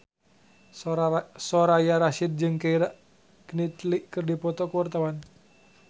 Soraya Rasyid jeung Keira Knightley keur dipoto ku wartawan